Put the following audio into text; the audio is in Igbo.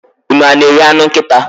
unu a na-eri anụ nkịta?